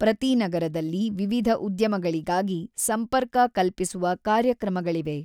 ಪ್ರತಿ ನಗರದಲ್ಲಿ ವಿವಿಧ ಉದ್ಯಮಗಳಿಗಾಗಿ ಸಂಪರ್ಕ ಕಲ್ಪಿಸುವ ಕಾರ್ಯಕ್ರಮಗಳಿವೆ.